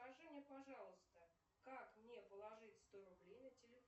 скажи мне пожалуйста как мне положить сто рублей на телефон